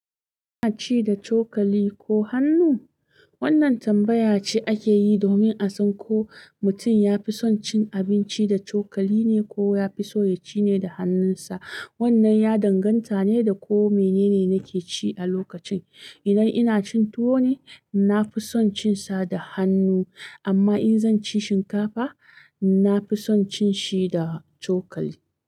Kina ci da chokali ko hannu? Wannan tambaya ce ake yi domin a san ko mutum ya fi son cin abinci da chokali ne ko ya fi so ya ci ne da hannunsa. Wannan ya danganta ne da ko mene ne nake ci a lokacin. Idan ina cin tuwo ne, na fi son cin sa da hannu, amma in zan ci shinkafa, na fi son cin shi da chokali.